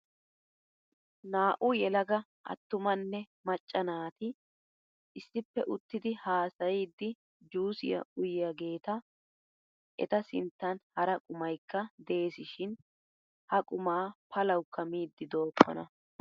Naa"u yelaga attumanne macca naati issippe uttidi haasayiiddi juusiyaa uyiyaageeta. Eta sinttan hara qumayikka deesishin ha qumaa palaawuukka miiddi dookkona.